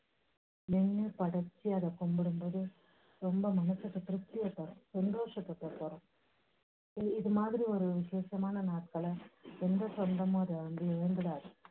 நின்னு படைச்சி அதை கும்பிடும் போது ரொம்ப மனசுக்கு திருப்தியை தரும், சந்தோஷத்தை குடுக்கும். இது மாதிரி ஒரு விஷேஷமான நாட்களை எந்த சொந்தமும் அதை வந்து இழந்துடாது.